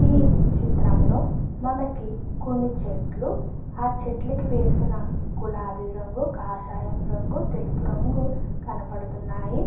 ఈ చిత్రంలో మనకి కొన్ని చెట్లు ఆ చెట్లు కి వేసిన గులాబీ రంగు కాషాయ రంగు తెలుపు రంగు కనబడుతూ ఉన్నాయి.